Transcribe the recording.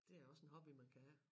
Det er også en hobby man kan have